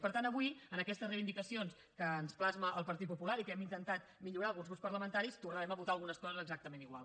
per tant avui en aquestes reivindicacions que ens plasma el partit popular i que hem intentat millorar alguns grups parlamentaris tornarem a votar algunes coses exactament igual